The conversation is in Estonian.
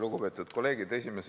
Lugupeetud kolleegid!